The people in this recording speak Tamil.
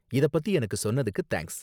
இத பத்தி எனக்கு சொன்னதுக்கு தேங்க்ஸ்.